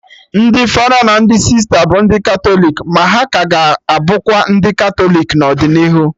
Ndị fada na ndị sista bụ ndị Katọlik, ma ha ka ga-abụkwa ndị Katọlik n'ọdịnihu